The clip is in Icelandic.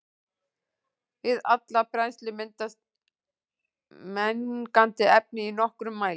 Við alla brennslu myndast mengandi efni í nokkrum mæli.